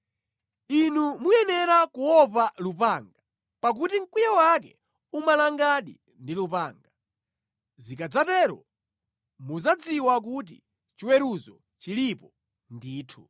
Inu muyenera kuopa lupanga; pakuti mkwiyo wake umalangadi ndi lupanga; zikadzatero muzadziwa kuti chiweruzo chilipo ndithu.”